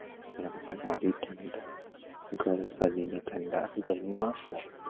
ત્યાં પછી મારી ઈચ્છા મુજબ ઠંડા શું ગરમી માં